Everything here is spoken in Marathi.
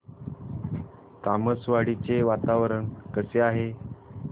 तामसवाडी चे वातावरण कसे आहे